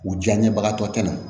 U diyaɲebagatɔ tɛ na